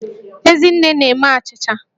Ezinne na-eme achịcha